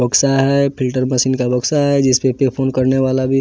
बक्सा है filter machine का बक्सा है जिस पे फोन करने वाला भी --